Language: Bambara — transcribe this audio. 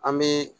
An bɛ